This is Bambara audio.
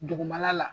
Dugumana la